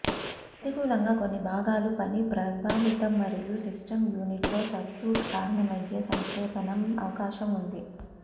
ప్రతికూలంగా కొన్ని భాగాలు పని ప్రభావితం మరియు సిస్టమ్ యూనిట్ లో సర్క్యూట్ కారణమయ్యే సంక్షేపణం అవకాశం ఉంది